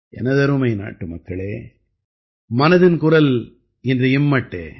எனதருமை நாட்டுமக்களே மனதின் குரல் இன்று இம்மட்டே